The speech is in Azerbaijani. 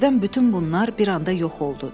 Birdən bütün bunlar bir anda yox oldu.